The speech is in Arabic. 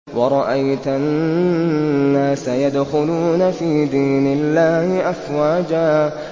وَرَأَيْتَ النَّاسَ يَدْخُلُونَ فِي دِينِ اللَّهِ أَفْوَاجًا